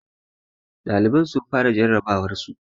Ɗaliban sun fara jarrabawarsu